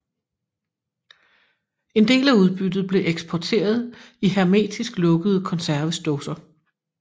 En del af udbyttet blev eksporteret i hermetisk lukkede konservesdåser